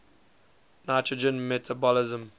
nitrogen metabolism